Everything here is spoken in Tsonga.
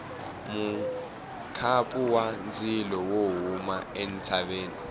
mukhapu wa ndzilo wo huma entshaveni